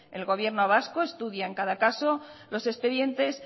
el gobierno vasco estudia en cada caso los expedientes